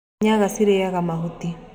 Nyaga cirarĩa mahuti.